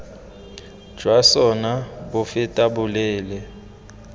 jwa sona bo fetang boleele